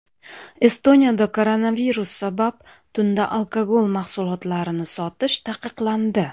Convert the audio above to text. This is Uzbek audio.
Estoniyada koronavirus sabab tunda alkogol mahsulotlarini sotish taqiqlandi.